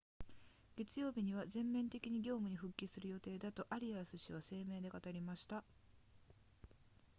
月曜日には全面的に業務に復帰する予定だとアリアス氏は声明で語りました